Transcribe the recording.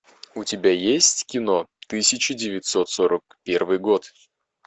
у тебя есть кино тысяча девятьсот сорок первый год